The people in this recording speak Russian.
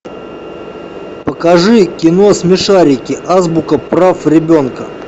покажи кино смешарики азбука прав ребенка